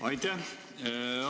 Aitäh!